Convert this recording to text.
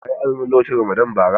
Ka yi azumi lokacin Ramadan bara?